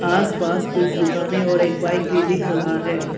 आस पास कुछ दुकानें और एक बाइक भी दिख रहा है।